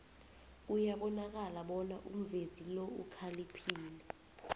kuyabonakala bona umvezi lo ukhaliphile